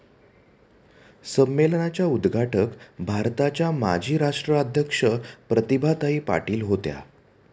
संमेलनाच्या उद्घाटक भारताच्या माजी राष्ट्राध्यक्ष प्रतिभाताई पाटील होत्या.